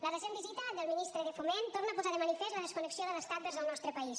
la recent visita del ministre de foment torna a posar de manifest la desconnexió de l’estat vers el nostre país